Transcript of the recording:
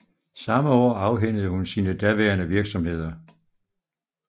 Samme år afhændede hun sine daværende virksomheder